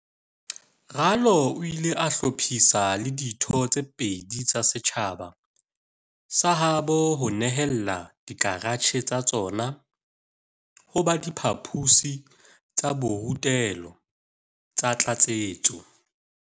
Ralo o ile a hlophisa le ditho tse pedi tsa setjhaba sa habo ho nehela dikaratjhe tsa tsona ho ba diphaposi tsa borutelo tsa tlatsetso.